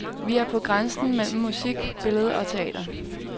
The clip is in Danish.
Vi er på grænsen mellem musik, billede og teater.